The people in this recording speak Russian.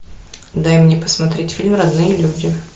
дай мне посмотреть фильм родные люди